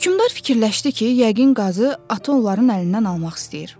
Hökmdar fikirləşdi ki, yəqin qazı atı onların əlindən almaq istəyir.